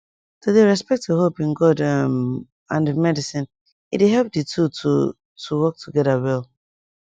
to dey respect your hope in god um and medicine e dey help di two to to work together well